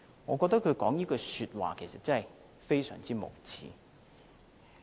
我覺得他說這句話，其實非常無耻。